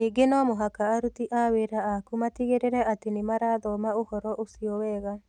Ningĩ no mũhaka aruti a wĩra aku matigĩrĩre atĩ nĩ marathoma ũhoro ũcio wega.